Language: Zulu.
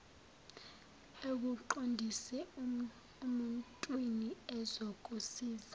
akuqondise emuntwini ozokusiza